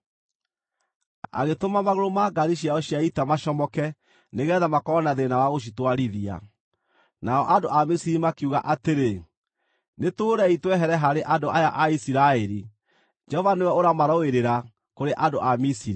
Agĩtũma magũrũ ma ngaari ciao cia ita macomoke nĩgeetha makorwo na thĩĩna wa gũcitwarithia. Nao andũ a Misiri makiuga atĩrĩ, “Nĩtũũrei twehere harĩ andũ aya a Isiraeli! Jehova nĩwe ũramarũĩrĩra kũrĩ andũ a Misiri.”